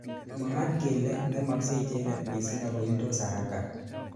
Mwaat kele ngemaksei icheket missing akoildos haraka.